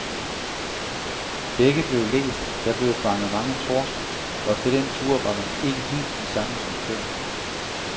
Begge blev læst, der blev fanget mange torsk, og efter den tur var man ikke helt den samme som før.